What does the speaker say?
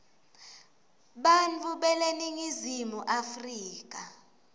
bantfu beleningizimu afrika